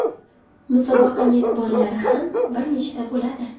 Musobaqa mezbonlari ham bir nechta bo‘ladi.